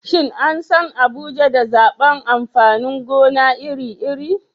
Shin an san Abuja da zabar amfanin gona iri-iri?